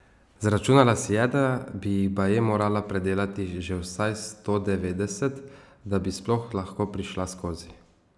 Zračunala si je, da bi jih baje morala predelat že vsaj sto devetdeset, da bi sploh lahko prišla skozi.